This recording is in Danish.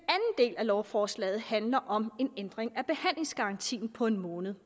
del af lovforslaget handler om en ændring af behandlingsgarantien på en måned